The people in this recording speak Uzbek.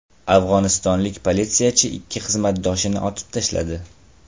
Afg‘onistonlik politsiyachi ikki xizmatdoshini otib tashladi.